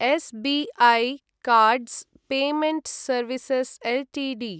S B I cards payment services Ltd